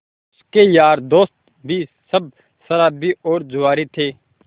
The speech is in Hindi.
उसके यार दोस्त भी सब शराबी और जुआरी थे